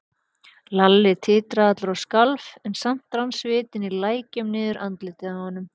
Lalli titraði allur og skalf, en samt rann svitinn í lækjum niður andlitið á honum.